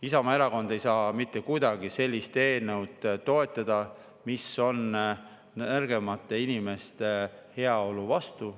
Isamaa Erakond ei saa mitte kuidagi sellist eelnõu toetada, mis nõrgemate inimeste heaolu vastu.